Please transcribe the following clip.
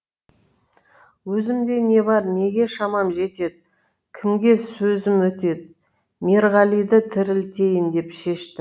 өзімде не бар неге шамам жетеді кімге сөзім өтеді мерғалиды тірілтейін деп шештім